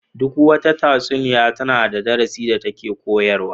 Duk wata tatsuniya tana da darasin da take koyarwa.